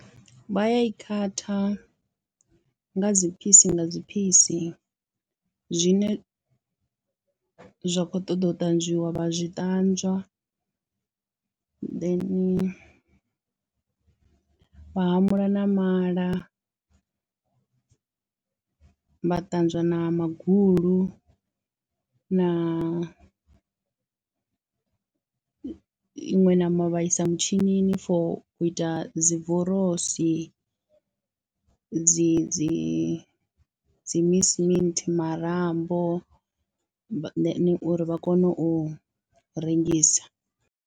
Vha ya i khatha nga dzi phisi nga dzi phisi zwine zwa khou ṱoḓa u ṱanzwiwa vha zwi ṱanzwa, then vha hamula na mala, vha ṱanzwa na magulu na iṅwe ṋama vha isa mutshini for u ita dzi vorosi dzi dzi dzi mince meat, marambo uri vha kone u rengisa.